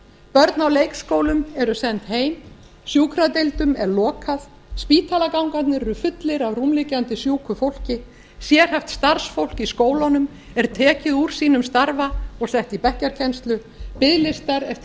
börn á leikskólum eru send heim sjúkradeildum er lokað spítalagangarnir eru fullir af rúmliggjandi sjúku fólki sérhæft starfsfólk í skólunum er tekið úr sínum starfa og sett í bekkjarkennslu biðlistar eftir